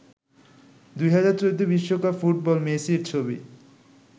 ২০১৪ বিশ্বকাপ ফুটবল মেসির ছবি